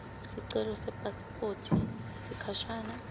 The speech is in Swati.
sicelo sepasiphothi yesikhashana